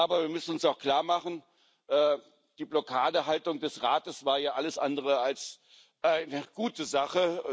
Aber wir müssen uns auch klarmachen Die Blockadehaltung des Rates war hier alles andere als eine gute Sache.